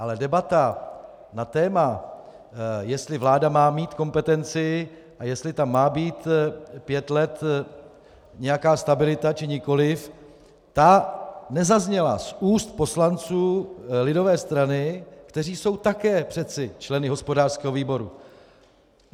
Ale debata na téma, jestli vláda má mít kompetenci a jestli tam má být pět let nějaká stabilita, či nikoliv, ta nezazněla z úst poslanců lidové strany, kteří jsou také přeci členy hospodářského výboru.